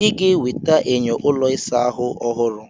Ị ga-eweta enyo ụlọ ịsa ahụ ọhụrụ.